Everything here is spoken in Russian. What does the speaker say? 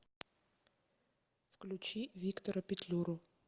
включи виктора петлюру